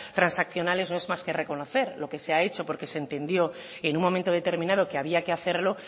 transaccionales no es más que reconocer lo que se hecho porque se entendió en un momento determinado que había que hacerlo